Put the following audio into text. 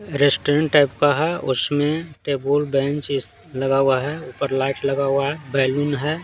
Restaurant type का है उसमें टेबल बेंच इस लगा हुआ है पर लाइट लगा हुआ है बैलून है।